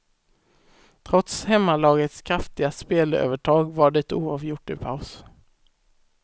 Trots hemmalagets kraftiga spelövertag var det oavgjort i paus.